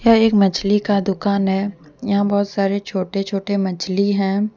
यह एक मछली का दुकान है यहां बहुत सारे छोटे छोटे मछली हैं।